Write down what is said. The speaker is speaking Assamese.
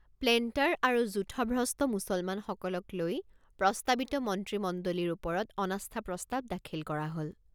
প্লেণ্টাৰ আৰু যূথভ্ৰষ্ট মুছলমানসকলক লৈ প্ৰস্তাৱিত মন্ত্ৰীমণ্ডলীৰ ওপৰত অনাস্থা প্ৰস্তাৱ দাখিল কৰা হল।